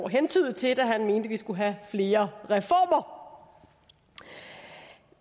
hentydede til da han mente vi skulle have flere reformer